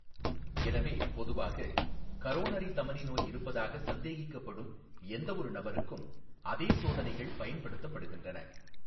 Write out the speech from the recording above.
எனவே, பொதுவாக, கரோனரி தமனி நோய் இருப்பதாக சந்தேகிக்கப்படும் எந்தவொரு நபருக்கும் அதே சோதனைகள் பயன்படுத்தப்படுகின்றன.